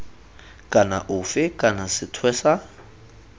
kana ofe kana sethwe sa